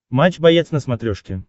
матч боец на смотрешке